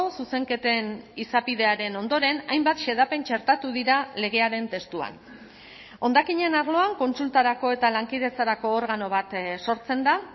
zuzenketen izapidearen ondoren hainbat xedapen txertatu dira legearen testuan hondakinen arloan kontsultarako eta lankidetzarako organo bat sortzen da